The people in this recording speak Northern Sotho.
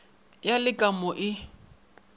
ya le ka mo e